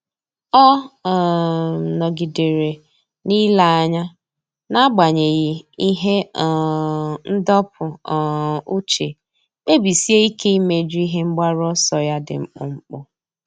Ọ́ um nọ́gídèrè n’ílé anya n’ágbànyéghị́ ihe um ndọpụ um uche, kpebisie ike íméjú ihe mgbaru ọsọ ya dị mkpụmkpụ.